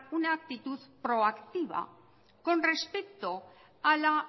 una actitud proactiva con respecto a la